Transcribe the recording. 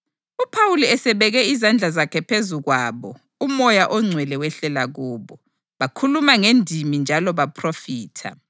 UPhawuli esebeke izandla zakhe phezu kwabo uMoya oNgcwele wehlela kubo, bakhuluma ngendimi njalo baphrofitha.